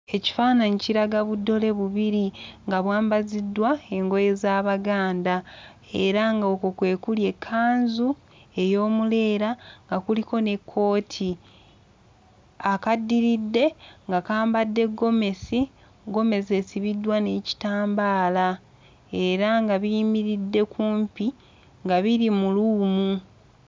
Ekifaananyi kiraga buddole bubiri nga bwambaziddwa engoye z'Abaganda era ng'okwo kwe kuli ekkanzu ey'omuleera nga kuliko n'ekkooti, akaddiridde nga kambadde ggomesi, ggomesi esibiddwa n'ekitambaala era nga biyimiridde kumpi nga biri mu luumu.